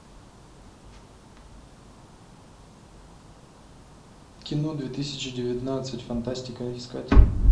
кино две тысячи девятнадцать фантастика искать